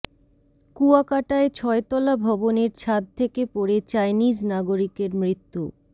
কুয়াকাটায় ছয়তলা ভবনের ছাদ থেকে পড়ে চাইনিজ নাগরিকের মৃত্যু